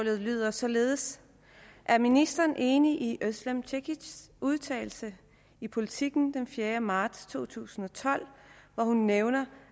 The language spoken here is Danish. lyder således er ministeren enig i özlem cekic udtalelse i politiken den fjerde marts to tusind og tolv hvor hun nævner